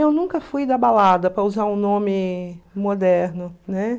Eu nunca fui da balada, para usar um nome moderno, né?